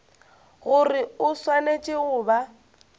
gore o swanetše go ba